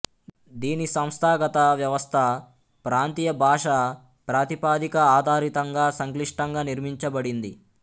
దీని సంస్థాగత వ్యవస్థ ప్రాంతీయ భాషా ప్రాతిపదిక ఆధారితంగా సంక్లిష్టంగా నిర్మించబడింది